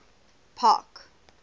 park